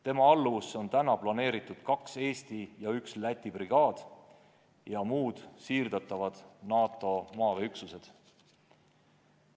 Tema alluvusse on planeeritud kaks Eesti brigaadi ja üks Läti brigaad ja muud siirdavad NATO maaväeüksused.